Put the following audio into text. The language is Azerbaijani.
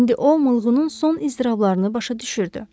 İndi o oğlunun son iztirablarını başa düşürdü.